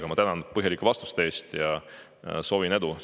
Aga ma tänan põhjalike vastuste eest ja soovin edu!